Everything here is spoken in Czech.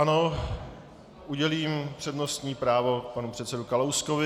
Ano, udělím přednostní právo panu předsedovi Kalouskovi.